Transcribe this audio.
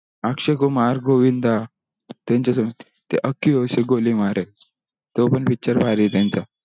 अक्षय कुमार गोविंद त्यांचा सोबत ते ते आंखियो से गोली मारे तो पन picture भारी ही त्यांचा